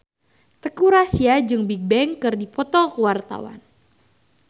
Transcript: Teuku Rassya jeung Bigbang keur dipoto ku wartawan